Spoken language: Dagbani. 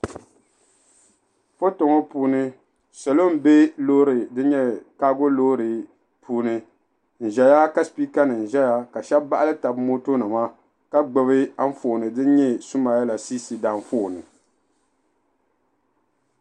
foto ŋɔ puuni salo n bɛ loori din nyɛ kaago loori puuni n ʒɛya ka sipika nim ʒɛya ka shab baɣali tabi moto nima ka gbubi Anfooni din nyɛ sumayila siisi Anfooni